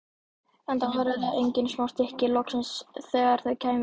Enda væru þetta engin smá stykki, loksins þegar þau kæmu.